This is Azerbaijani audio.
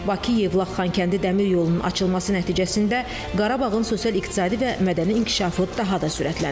Bakı-Yevlax-Xankəndi Dəmir yolunun açılması nəticəsində Qarabağın sosial-iqtisadi və mədəni inkişafı daha da sürətlənib.